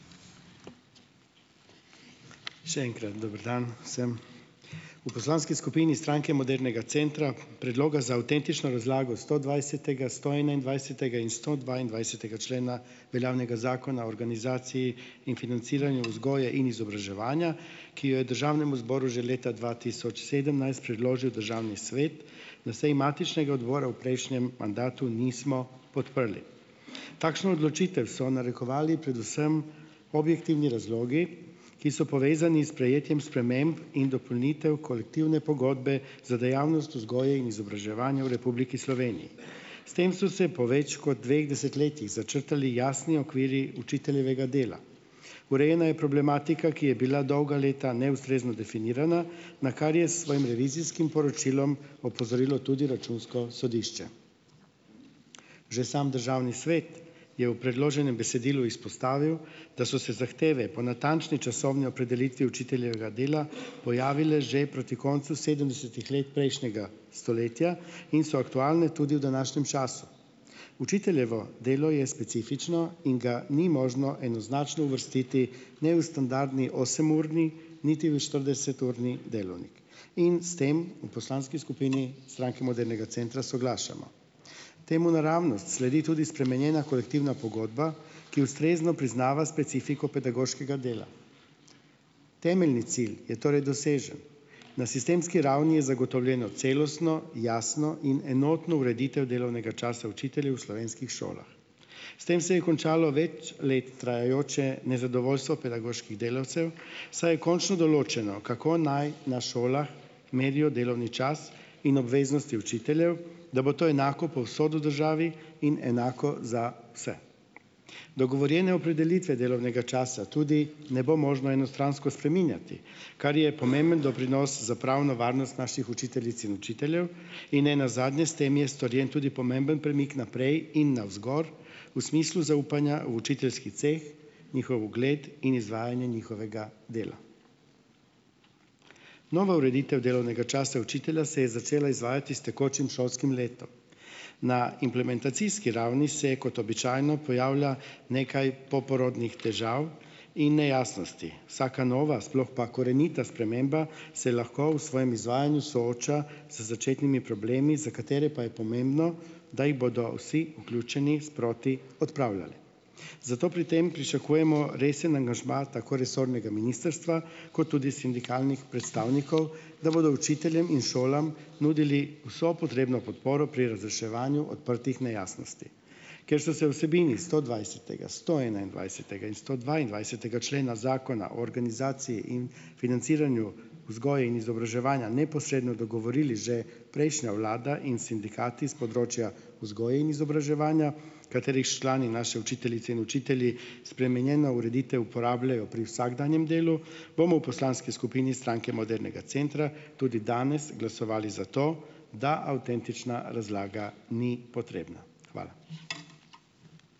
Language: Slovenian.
Še enkrat dober dan vsem. V poslanski skupini Stranke modernega centra predloga za avtentično razlago stodvajsetega, stoenaindvajsetega in stodvaindvajsetega člena veljavnega Zakona o organizaciji in financiranju vzgoje in izobraževanja, ki jo je državnemu zboru že leta dva tisoč sedemnajst predložil državni svet na seji matičnega odbora v prejšnjem mandatu, nismo podprli. Takšno odločitev so narekovali predvsem objektivni razlogi, ki so povezani sprejetjem sprememb in dopolnitev kolektivne pogodbe za dejavnost vzgoje in izobraževanja v Republiki Sloveniji. S tem so se po več kot dveh desetletjih začrtali jasni okvirji učiteljevega dela. Urejena je problematika, ki je bila dolga leta neustrezno definirana, na kar je s svojim revizijskim poročilom opozorilo tudi računsko sodišče. Že sam državni svet je v predloženem besedilu izpostavil, da so se zahteve po natančni časovni opredelitvi učiteljevega dela pojavile že proti koncu sedemdesetih let prejšnjega stoletja in so aktualne tudi v današnjem času. Učiteljevo delo je specifično in ga ni možno enoznačno uvrstiti ne v standardni osemurni, niti v štirideseturni delavnik in s tem u poslanski skupini Stranke modernega centra soglašamo. Temu naravnost sledi tudi spremenjena kolektivna pogodba, ki ustrezno priznava specifiko pedagoškega dela. Temeljni cilj je torej dosežen, na sistemski ravni je zagotovljena celostno, jasno in enotno ureditev delovnega časa učiteljev v slovenskih šolah. S tem se je končalo več let trajajoče nezadovoljstvo pedagoških delavcev, saj je končno določeno, kako naj na šolah merijo delovni čas in obveznosti učiteljev, da bo to enako povsod v državi in enako za vse. Dogovorjene opredelitve delovnega časa tudi ne bo možno enostransko spreminjati. Kar je pomemben doprinos za pravno varnost naših učiteljic in učiteljev in nenazadnje - s tem je storjen tudi pomemben premik naprej in navzgor v smislu zaupanja v učiteljski ceh, njihov ugled in izvajanje njihovega dela. Nova ureditev delovnega časa učitelja se je začela izvajati s tekočim šolskim letom. Na implementacijski ravni se kot običajno pojavlja nekaj poporodnih težav in nejasnosti. Vsaka nova, sploh pa korenita sprememba, se lahko v svojem izvajanju sooča z začetnimi problemi, za katere pa je pomembno, da jih bodo vsi vključeni sproti odpravljali. Zato pri tem pričakujemo resen angažma tako resornega ministrstva kot tudi sindikalnih predstavnikov, da bodo učiteljem in šolam nudili vso potrebno podporo pri razreševanju odprtih nejasnosti. Ker so se vsebini stodvajsetega, stoenaindvajsetega in stodvaindvajsetega člena Zakona o organizaciji in financiranju vzgoje in izobraževanja neposredno dogovorili že prejšnja vlada in sindikati s področja vzgoje in izobraževanja, katerih člani, naše učiteljice in učitelji, spremenjeno ureditev uporabljajo pri vsakdanjem delu, bomo v poslanski skupini Stranke modernega centra tudi danes glasovali za to, da avtentična razlaga ni potrebna. Hvala.